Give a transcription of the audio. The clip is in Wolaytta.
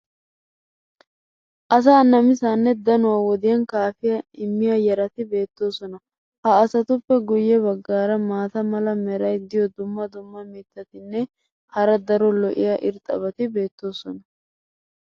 Asaa namisaanne dannuwaa wodiyan kaafiya immiya yarati beetoosona. ha asatuppe guye bagaara maata mala meray diyo dumma dumma mitatinne hara daro lo'iya irxxabati beetoosona.